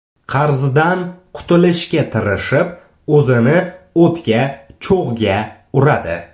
Qarzdan qutulishga tirishib, o‘zini o‘tga, cho‘g‘ga uradi.